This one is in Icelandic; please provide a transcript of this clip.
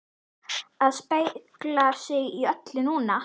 AÐ SPEGLA SIG Í ÖLLU NÚNA!